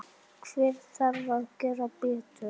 Hver þarf að gera betur?